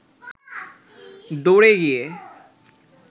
দৌড়ে গিয়ে